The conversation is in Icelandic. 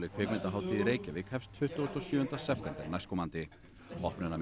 kvikmyndahátíð í Reykjavík hefst tuttugasta og sjöunda september næstkomandi